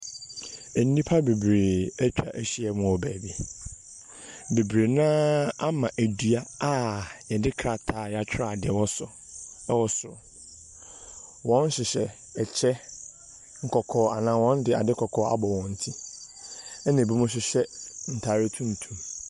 Nnipa bebree atwa ahyia mu wɔ baabi. Bebree no ara ama dua a wɔde trataa a wɔatwerɛ adeɛ wɔ so wɔ soro. Wɔhyehyɛ ɛkyɛ nkɔkɔɔ, anaa wɔde ade kɔkɔɔ abɔ wɔn ti, ɛna binom hyehyɛ ntade tuntum.